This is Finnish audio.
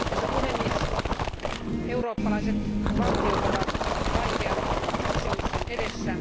Arvoisa puhemies, eurooppalaiset valtiot ovat vaikean kysymyksen edessä.